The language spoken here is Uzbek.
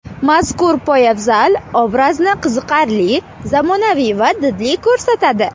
Mazkur poyabzal obrazni qiziqarli, zamonaviy va didli ko‘rsatadi.